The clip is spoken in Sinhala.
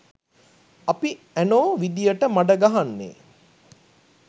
අපි ඇනෝ විදියට මඩ ගහන්නේ